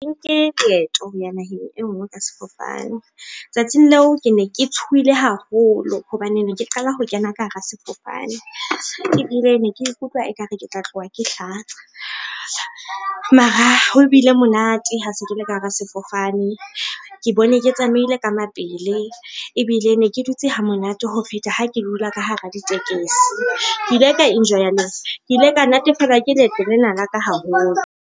Nke leeto ho ya naheng e nngwe ka sefofane. Tsatsing leo, ke ne ke tshohile haholo hobane ne ke qala ho kena ka hara sefofane ebile ne ke ikutlwa ekare ke tla tloha ke hlatsa. Mara ho bile monate ha se ke le ka hara sefofane, ke bone ke tsamaile ka mapele ebile ne ke dutse hamonate ho feta ha ke dula ka hara ditekesi. Ke ile ka enjoy-a, ke ile ka natefelwa ke leeto lena la ka haholo?